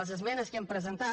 les esmenes que hem presentat